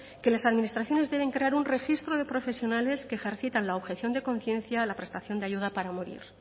que las administraciones deben crear un registro de profesionales que ejercitan la objeción de conciencia en la prestación de ayuda para morir